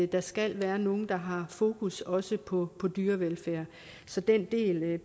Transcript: der skal være nogle der har fokus også på på dyrevelfærd så den del